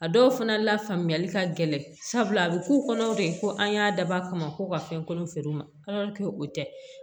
A dɔw fana la faamuyali ka gɛlɛn sabula a bɛ k'u kɔnɔ de ko an y'a dabɔ a kama ko ka fɛn kolon feere u ma o tɛ